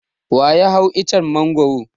Wa ya hau icen Mangwaro?